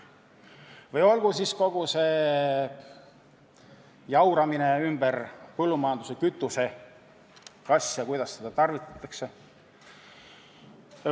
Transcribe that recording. Või siis kogu see jauramine põllumajanduses kasutatava kütuse ümber, kas ja kuidas seda tarvitatakse.